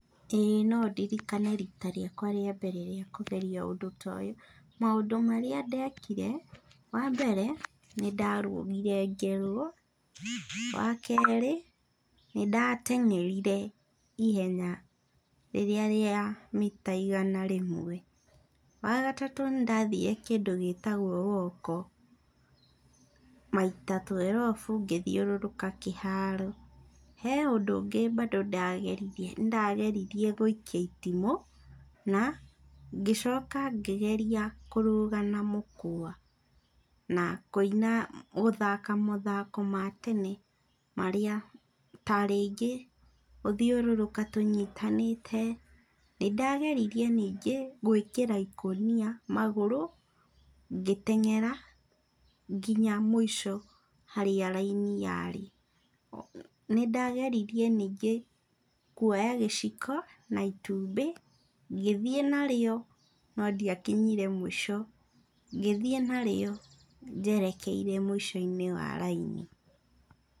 Ĩĩ no ndirikane rita rĩakwa rĩa mbere rĩa kũgeria ũndũ ta ũyũ. Maũndũ marĩa ndekire, wambere, nĩndarũgire ngerwo, wakerĩ, nĩndateng'erire ihenya rĩrĩa rĩa mita igana rĩmwe. Wa gatatũ nĩndathire kĩndũ gĩtwagwo woko, maita twerobu ngĩthiũrũrũka kĩharo. He ũndũ ũngĩ bandũ ndageririe, nĩndageririe gũikia itimũ, na ngĩcoka ngĩgeria kũrũga na mũkwa na kũina gũthaka mathako ma tene marĩa, ta rĩngĩ, gũthiũrũrũka tũnyitanĩte, nĩndageririe ningĩ gwĩkĩra ikũnia magũrũ, ngĩteng'era nginya mũico harĩa raini yarĩ. Nĩndageririe ningĩ kuoya gĩciko na itumbĩ, ngĩthiĩ nario, no ndiakinyire mũico. Ngĩthiĩ narĩo njerekeire mũico-inĩ wa raini.